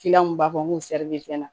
mun b'a fɔ n ko sɛri be fɛn na